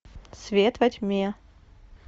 свет во тьме